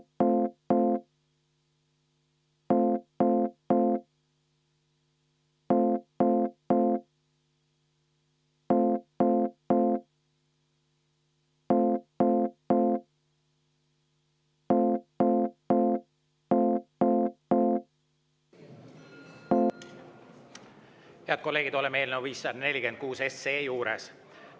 Head kolleegid, oleme eelnõu 546 juures.